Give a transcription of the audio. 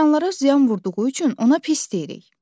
İnsanlara ziyan vurduğu üçün ona pis deyirik.